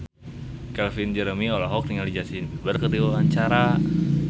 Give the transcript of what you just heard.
Calvin Jeremy olohok ningali Justin Beiber keur diwawancara